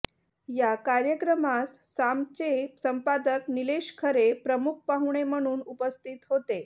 या कार्यक्रमास सामचे संपादक निलेश खरे प्रमुख पाहुणे म्हणून उपस्थित होते